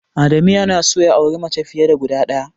Adamu yana son ya auri mace fiye da guda ɗaya.